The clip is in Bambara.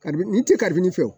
Kari ni tɛ karibini fiyewu